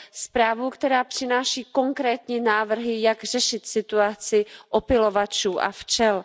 zprávu, která přináší konkrétní návrhy, jak řešit situaci opylovačů a včel.